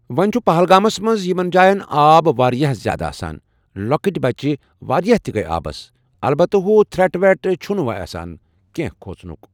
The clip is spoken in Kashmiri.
وۄنۍ چھُ پہلگامس منٛز یِمن جاین آب واریاہ زیادٕ آسان۔ لۄکٕٹۍ بچہٕ واریاہ تہِ گے آبس، البتہٕ ہُہ تھٕرٮ۪ٹ وٮ۪ٹ چھُنہٕ اسہِ آسان کینٛہہ کھوژنُک ۔